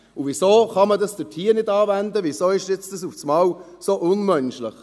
Und weshalb kann man das dort nicht anwenden, weshalb ist das jetzt auf einmal so unmenschlich?